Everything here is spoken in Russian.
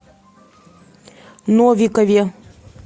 новикове